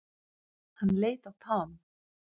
Hann leit á Tom.